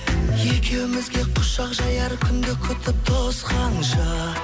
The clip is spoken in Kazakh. екеумізге құшақ жаяр күнді күтіп тосқанша